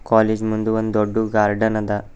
College ಮುಂದ್ ಒಂದ್ ದೊಡ್ದು ಗಾರ್ಡನ್ ಅದ.